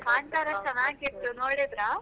ಕಾಂತಾರ ಚನ್ನಾಗಿತ್ತು ನೋಡಿದ್ರಾ?